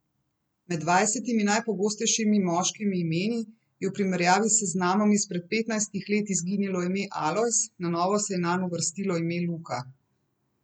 Med dvajsetimi najpogostejšimi moškimi imeni je v primerjavi s seznamom izpred petnajstih let izginilo ime Alojz, na novo se je nanj uvrstilo ime Luka.